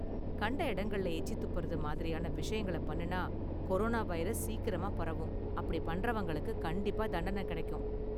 கண்ட இடங்கள்ல எச்சி துப்புறது மாதிரியான விஷயங்கள பண்ணுனா கொரோனா வைரஸ் சீக்கிரமா பரவும், அப்படி பண்றவங்களுக்கு கண்டிப்பா தண்டன கெடைக்கும்.